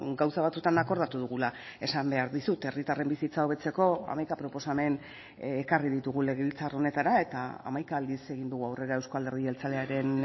gauza batzuetan akordatu dugula esan behar dizut herritarren bizitza hobetzeko hamaika proposamen ekarri ditugu legebiltzar honetara eta hamaika aldiz egin dugu aurrera euzko alderdi jeltzalearen